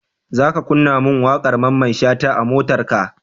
Zaka kunna mun waƙar mamman shata a motarka?